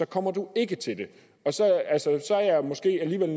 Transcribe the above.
kommer de ikke til det så er jeg måske alligevel